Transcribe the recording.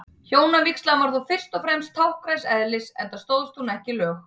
Hjónavígslan var þó fyrst og fremst táknræns eðlis, enda stóðst hún ekki lög.